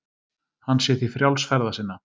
Hann sé því frjáls ferða sinna